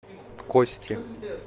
кости